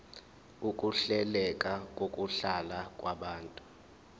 ukuhleleka kokuhlala kwabantu